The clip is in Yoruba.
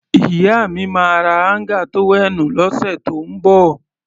Ìyá mi máa ra áńgà tówẹ́ẹ̀nù lọ́sẹ̀ tó ń bọ̀.